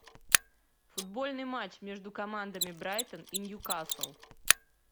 футбольный матч между командами брайтон и ньюкасл